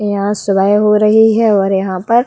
यहाँ सुबय हो रही है और यहाँ पर --